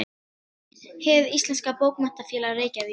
Hið íslenska bókmenntafélag: Reykjavík.